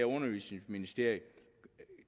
undervisningsministeriet